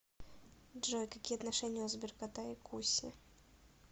джой какие отношения у сберкота и куси